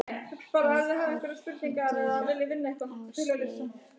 Eikar, hringdu í Ásleif.